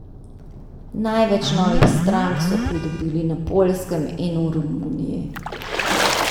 Največ novih strank so pridobili na Poljskem in v Romuniji.